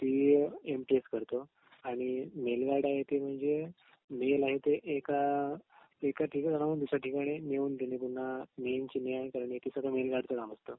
ती M T S करतो आणि मेल गार्ड आहे ते म्हणजे मेल आहे ते एका एका ठिकाणाहून दुसऱ्या ठिकाणी नेऊन देने मेल गार्डच काम असत